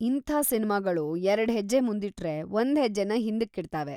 ಇಂಥ ಸಿನ್ಮಾಗಳು ಎರಡ್ ಹೆಜ್ಜೆ ಮುಂದಿಟ್ರೆ, ಒಂದ್ ಹೆಜ್ಜೆನ ಹಿಂದಕ್ಕಿಡ್ತಾವೆ.